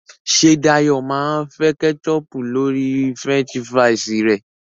ṣe Dayo má fè ketchup lórí french fries re?